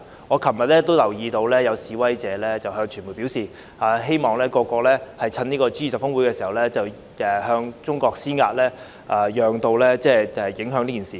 我昨天也留意到有示威者向傳媒表示，希望各國在 G20 峰會期間向中國施壓，藉此造成影響。